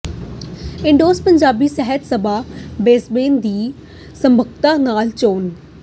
ਇੰਡੋਜ਼ ਪੰਜਾਬੀ ਸਾਹਿਤ ਸਭਾ ਬਿ੍ਸਬੇਨ ਦੀ ਸਰਬਸੰਮਤੀ ਨਾਲ ਚੋਣ